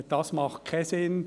Das macht keinen Sinn.